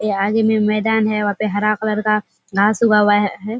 ये आगे में मैदना है बहुते हरा कलर का घास उगा हुआ है।